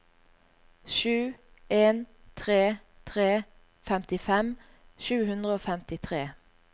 sju en tre tre femtifem sju hundre og femtitre